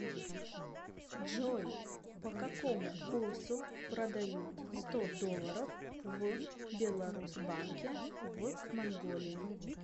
джой по какому курсу продают сто долларов в беларусбанке в манголии